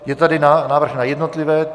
Je tady návrh na jednotlivé...